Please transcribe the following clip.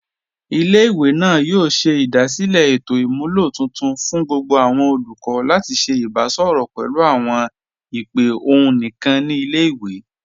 Ilẹ̀-ìwé náà yóò ṣẹ̀ idasílẹ̀ ètò imúlọ̀ tuntun fún gbogbo awọn olùkọ̀ lati ṣẹ̀ ìbàṣọrọ pẹ̀lú awọn ìpè ọ̀hun níkan ni ilẹ̀-ìwé.